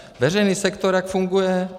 Veřejný sektor - jak funguje?